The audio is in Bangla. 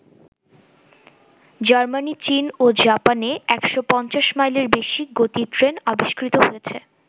জার্মানি, চীন ও জাপানে ১৫০ মাইলের বেশি গতির ট্রেন আবিষ্কৃত হয়েছে।